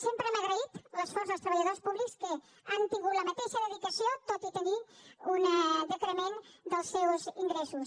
sempre hem agraït l’esforç dels treballadors públics que han tingut la mateixa dedicació tot i tenir un decrement dels seus ingressos